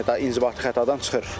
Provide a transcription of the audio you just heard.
Yəni daha inzibati xətadan çıxır.